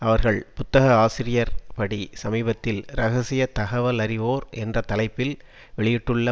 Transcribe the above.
அவர்கள் புத்தக ஆசிரியர் படி சமீபத்தில் இரகசிய தகவலறிவோர் என்ற தலைப்பில் வெளியிட்டுள்ள